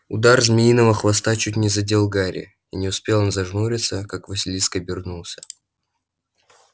удар змеиного хвоста чуть не задел гарри и не успел он зажмуриться как василиск обернулся